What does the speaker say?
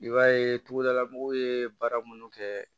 I b'a ye togodala mɔgɔw ye baara minnu kɛ